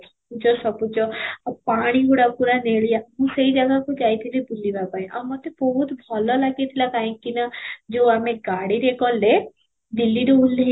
ସବୁଜ ଆଉ ପାଣି ଗୁଡ଼ା ପୁରା ନେଳିଆ ମୁଁ ସେଇ ଜାଗାକୁ ଯାଇଥିଲି ବୁଲିବା ପାଇଁ ଆଉ ମୋତେ ବହୁତ ଭଲ ଲାଗିଥିଲା କାହିଁକି ନା ଯଉ ଆମେ ଗାଡ଼ିରେ ଗଲେ ଦିଲ୍ଲୀରୁ ଓଲ୍ହେଇ